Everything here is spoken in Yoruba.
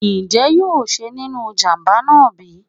njé yóò yè nínú ìjàǹbá náá bi?